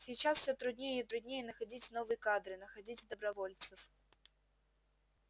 сейчас всё труднее и труднее находить новые кадры находить добровольцев